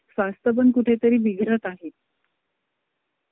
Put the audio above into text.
चालतंय चालतंय काय अडचण नाही.